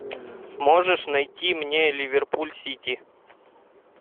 можешь найти мне ливерпуль сити